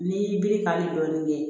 N'i y'i biri kari dɔɔnin